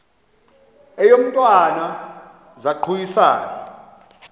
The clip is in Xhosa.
eyo mntwana zaquisana